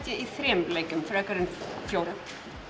ég í þremur leikjum frekar en fjórum